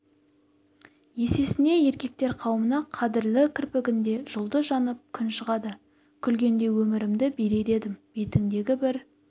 есесіне еркектер қауымына қадырлы кірпігіңде жұлдыз жанып күн шығады күлгенде өмірімді берер едім бетіңдегі бір